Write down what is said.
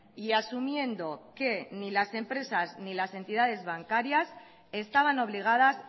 y asumiendo que ni las empresas ni las entidades bancarias estaban obligadas